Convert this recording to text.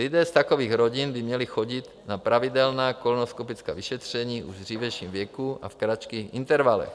Lidé z takových rodin by měli chodit na pravidelná kolonoskopická vyšetření už v dřívějším věku a v kratších intervalech.